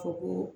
Ko ko